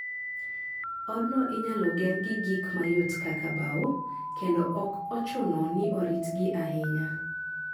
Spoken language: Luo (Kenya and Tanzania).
Odno inyalo ger gi gik mayot kaka bao, kendo ok ochuno ni oritgi ahinya.